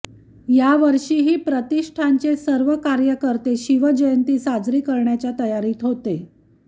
या वर्षीही प्रतिष्ठानचे सर्व कार्यकर्ते शिवजयंती साजरी करण्याच्या तयारीत होते